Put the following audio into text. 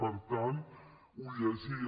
per tant ho llegia